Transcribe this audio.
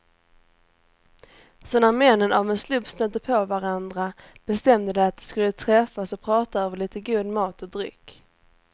Så när männen av en slump stötte på varandra bestämde de att de skulle träffas och prata över lite god mat och dryck.